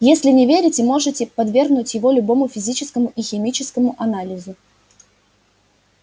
если не верите можете подвергнуть его любому физическому и химическому анализу